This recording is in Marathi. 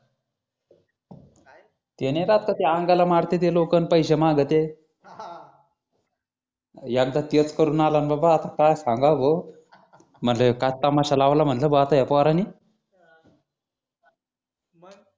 ते नाय का ते अंगाला मारतेत ते लोकं आणि पैसे मागतेत हा हा एकदा तेच करून आला न बाबा आता काय सांगावं भो म्हटलं काय तमाशा लावला म्हटलं या पोरानी